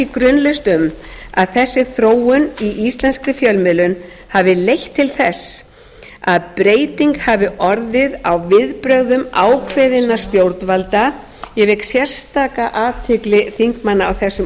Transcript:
grunlaust um að þessi þróun i íslenskri fjölmiðlun hafi leitt til þess að breyting hafi orðið á viðbrögðum ákveðinna stjórnvalda ég vek sérstaka athygli þingmanna á þessum